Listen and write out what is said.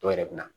Dɔw yɛrɛ bɛ na